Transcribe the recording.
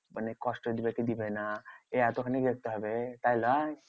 মানে কষ্ট দিবে কি দিবে না? এই এতখানি দেখতে হবে তাই লয়?